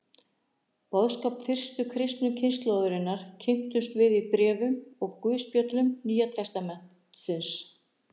Boðskap fyrstu kristnu kynslóðarinnar kynnumst við í bréfum og guðspjöllum Nýja testamentisins.